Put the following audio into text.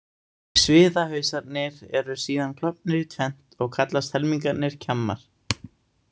Sviðahausarnir eru síðan klofnir í tvennt og kallast helmingarnir kjammar.